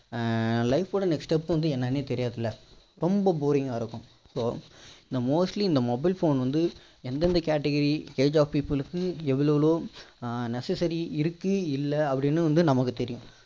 life ஓட next step வந்து என்னனே தெரியறது இல்ல ரொம்ப boring கா இருக்கும் so இந்த mostly இந்த entertainment வந்து எந்தெந்த category age of people க்கு எவ்வளோ எவ்வளோ necessary இருக்கு இல்ல அப்படின்னு வந்து நமக்கு தெரியும்